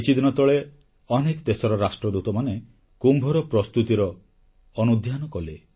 କିଛିଦିନ ତଳେ ଅନେକ ଦେଶର ରାଷ୍ଟ୍ରଦୂତମାନେ କୁମ୍ଭର ପ୍ରସ୍ତୁତିର ଅନୁଧ୍ୟାନ କଲେ